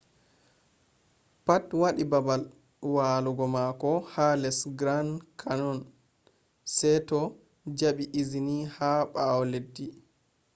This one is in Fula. pat wadi babal walugo mako ha les grand canyon se to jabi izini ha bawo leddi